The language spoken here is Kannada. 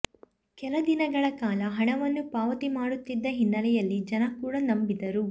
ಕೆಲ ದಿನಗಳ ಕಾಲ ಹಣವನ್ನೂ ಪಾವತಿ ಮಾಡುತ್ತಿದ್ದ ಹಿನ್ನಲೆಯಲ್ಲಿ ಜನ ಕೂಡ ನಂಬಿದರು